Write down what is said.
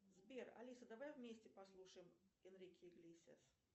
сбер алиса давай вместе послушаем энрике иглесиас